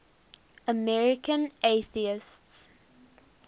american atheists